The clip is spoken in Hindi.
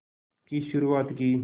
की शुरुआत की